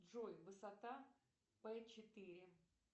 джой высота п четыре